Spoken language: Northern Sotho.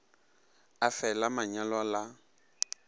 le fe la manyalo la